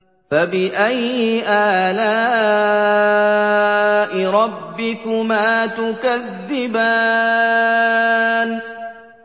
فَبِأَيِّ آلَاءِ رَبِّكُمَا تُكَذِّبَانِ